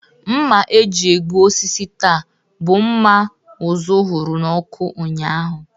Mma eji egbu osisi taa, bụ mma ụzụ hụrụ n'ọkụ ụnyaahụ